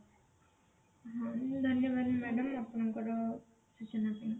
ଉଁ ଧନ୍ୟବାଦ madam ଆପଣଙ୍କର ସୂଚନା ପାଇଁ